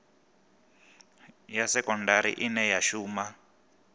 ya sekondari ine ya shuma